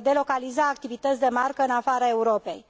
delocaliza activități de marcă în afara Europei.